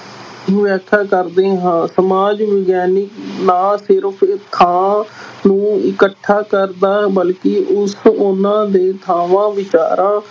ਵਿਆਖਿਆ ਕਰਦੇ ਹਾਂ ਸਮਾਜ ਵਿਗਿਆਨਕ ਨਾ ਸਿਰਫ਼ ਨੂੰ ਇਕੱਠਾ ਕਰਦਾ ਬਲਕਿ ਉਸ ਉਹਨਾਂ ਦੇ ਥਾਵਾਂ ਵਿਚਾਰਾਂ